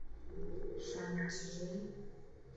шанчжи